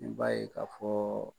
I b'a ye k'a fɔ